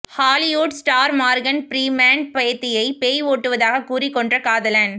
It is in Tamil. ஹாலிவுட் ஸ்டார் மார்கன் ப்ரீமேன் பேத்தியை பேய் ஓட்டுவதாக கூறிக் கொன்ற காதலன்